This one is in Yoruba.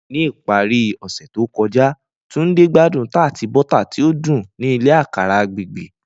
Ni ipari ose to kọja, Tunde gbadun tart bota ti o dun ni ile akara agbegbe.